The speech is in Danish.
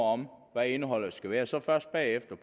om hvad indholdet skulle være og så først bagefter